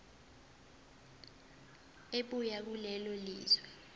ebuya kulelo lizwe